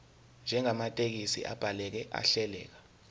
njengamathekisthi abhaleke ahleleka